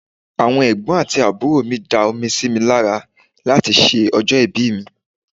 Àwọn Ẹ̀gbọ́n àti àbúrò mi da omi sí mi lára láti ṣe ọjọ́ ìbí mi.